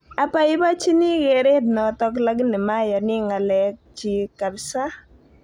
Abaibachini kereet notok lakini mayani ng'alek chiik kapsaa